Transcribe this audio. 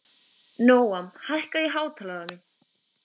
Nóam, hækkaðu í hátalaranum.